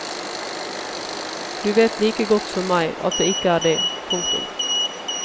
Du vet like godt som meg at det ikke er det. punktum